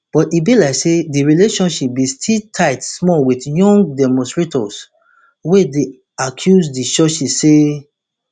but e be like say di relationship bin still tight small wit young demonstrators wey dey accuse di churches say